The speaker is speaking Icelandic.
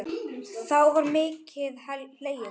Þá var mikið hlegið.